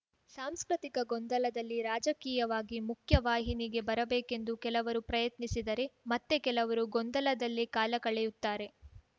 ಸಾಂಸ್ಕೃತಿಕ ಗೊಂದಲದಲ್ಲಿ ರಾಜಕೀಯವಾಗಿ ಮುಖ್ಯವಾಹಿನಿಗೆ ಬರಬೇಕೆಂದು ಕೆಲವರು ಪ್ರಯತ್ನಿಸಿದರೆ ಮತ್ತೆ ಕೆಲವರು ಗೊಂದಲದಲ್ಲೇ ಕಾಲ ಕಳೆಯುತ್ತಾರೆ